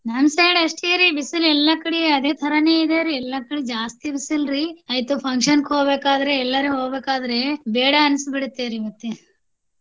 ನಮ್ಮ side ಅಷ್ಟೇರಿ ಬಿಸಿಲು ಎಲ್ಲಾ ಕಡೆ ಅದೇ ತರಾನೆ ಇದೆರಿ ಎಲ್ಲಾ ಕಡೆ ಜಾಸ್ತಿ ಬಿಸಿಲ್ರಿ ಆಯ್ತು function ಗೆ ಹೋಗ್ಬೇಕ ಆದ್ರೆ ಎಲ್ಯಾರ ಹೋಗ್ಬೇಕ ಆದ್ರೆ ಬೇಡಾ ಅನ್ಸಿ ಬಿಡುತ್ತೇರಿ ಮತ್ತೆ.